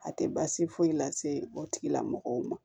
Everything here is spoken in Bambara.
A tɛ baasi foyi lase o tigilamɔgɔw ma